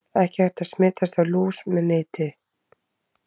Ekki er hægt að smitast af lús með nitinni.